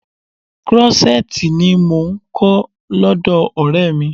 Krọ́ṣẹ́tìì ni mò ń kọ́ lọ́dọ̀ Ọ̀rẹ́ mi.